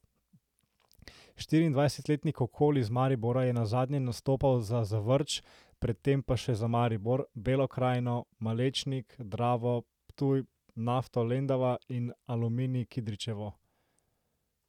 Štiriindvajsetletni Kokol iz Maribora je nazadnje nastopal za Zavrč, pred tem pa še za Maribor, Belo Krajino, Malečnik, Dravo Ptuj, Nafto Lendava in Aluminij Kidričevo.